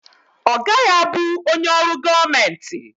Ọ gaghị abụ onye ọrụ gọọmenti.